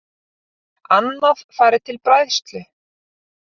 Annað fari til bræðslu